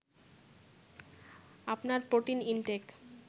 আপনার protein intact